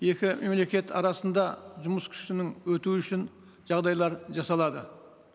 екі мемлекет арасында жұмыс күшінің өтуі үшін жағдайлар жасалады